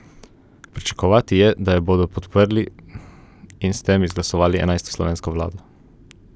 Pričakovati je, da jo bodo podprli in s tem izglasovali enajsto slovensko vlado.